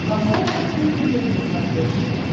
поставь открытый мир на смотрешке